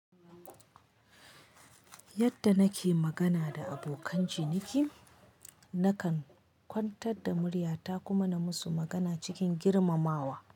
Yadda nake magana da abokan ciniki, nakan kwantar da murya ta kuma na musu magana cikin girmamawa.